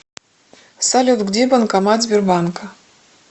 салют где банкомат сбербанка